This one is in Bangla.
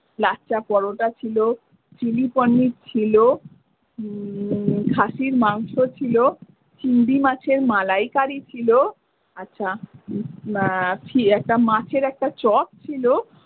লাচ্ছা পরোটা ছিল চিলি পনির ছিল উম খাসির মাংস ছিল চিংড়ি মাছের মালাই কারি ছিল আচ্ছা একটা মাছের একটা চপ ছিল।